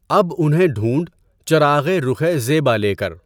اب انہیں ڈھونڈ چراغِ رُخِ زیبا لے کر